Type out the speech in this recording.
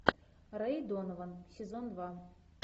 рэй донован сезон два